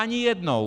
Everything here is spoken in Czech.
Ani jednou!